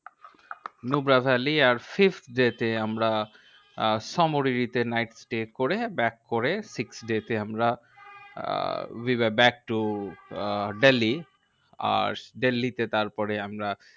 Nubra valley, আর fifth day তে আমরা আহ সামোরিরি তে night stay করে, back করে sixth day তে আমরা uh we were back to uh Delhi. আর দিল্লী তে তারপরে আমরা